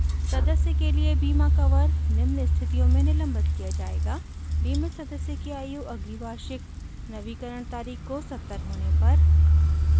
एक सदस्य के लिए बीमा कवर निम्न स्थितियों में निलंबित किया जायेगा: बीमित सदस्य की आयु अगली वार्षिक नवीकरण तारीख़ को 70 होने पर